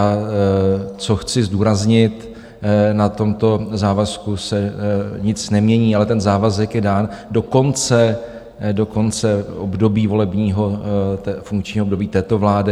A co chci zdůraznit, na tomto závazku se nic nemění, ale ten závazek je dán do konce období volebního, funkčního období této vlády.